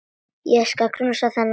Ég skal knúsa þennan mann!